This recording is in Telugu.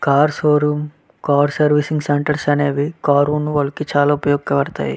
Car showroom car servicing centres అనేవి కారు ఉన్న వాళ్ళకి చాలా ఉపయోగపడుతాయి.